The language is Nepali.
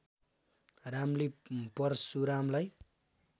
रामले परशुरामलाई